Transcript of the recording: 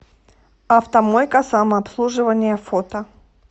автомойка самообслуживания фото